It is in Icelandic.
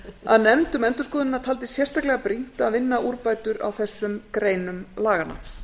að nefnd um endurskoðunina taldi sérstaklega brýnt að vinna úrbætur á þessum greinum laganna